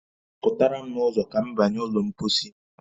Pụtara m n'ụzo ka m banye ụlọ mpọsị